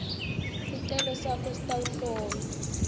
sicelo sakho sitawuhlolwa